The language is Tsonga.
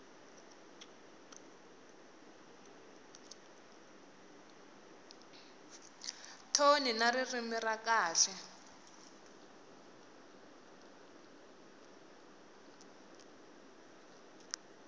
thoni na ririmi ra kahle